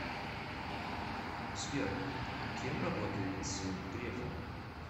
сбер кем работает сын грефа